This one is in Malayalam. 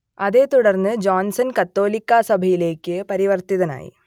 അതേത്തുടർന്ന് ജോൺസൺ കത്തോലിക്കാ സഭയിലേക്ക് പരിവർത്തിതനായി